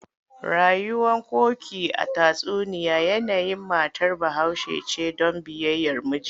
Rayuwar Koki a tatsuniya yanayin matar Bahaushe ce don biyayyar miji.